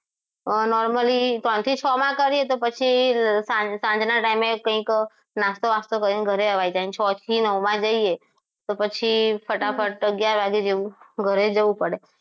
Normally ત્રણ થી છ માં કરીએ તો પછી સાંજના time કંઈક નાસ્તો બસ્તો કરીને અવાય કેમ છ થી નવ માં જઈએ તો પછી ફટાફટ અગિયાર વાગે જેવું ઘરે જવું પડે